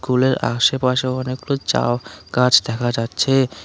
কুলের আশেপাশেও অনেকগুলো চাও গাছ দেখা যাচ্ছে।